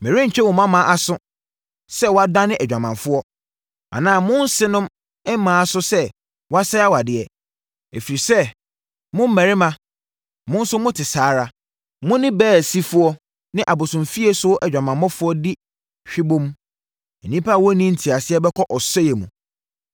“Merentwe mo mmammaa aso sɛ wɔadane adwamanfoɔ, anaa mo nsenom mmaa aso sɛ wɔasɛe awadeɛ. Ɛfiri sɛ, mo mmarima, mo nso mote saa ara. Mo ne baasifoɔ ne abosomfieso adwamanfoɔ di hwebom. Nnipa a wɔnni nteaseɛ bɛkɔ ɔsɛeɛ mu!